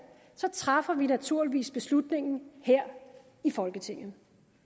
træffer vi naturligvis beslutningen her i folketinget